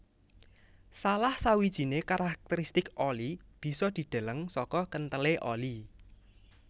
Salah sawijiné karakteristik oli bisa dideleng saka kenthelé oli